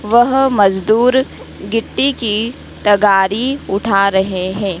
वह मजदूर गीट्टी की तगारी उठा रहे हैं।